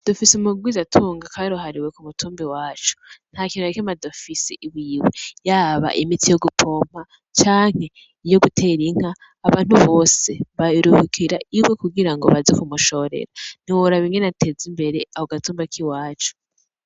Dufis'umurwiza tunga karuhariwe k'umutumba iwacu ntakintu nakimwe adafise iwiwe, yaba imiti yo gupompa cane iyo guter'inka ,abantu bose baruhukira iwe kugirango baze kumushorera ntiworab 'ingen atez'imbere ako gatumba k'iwacu.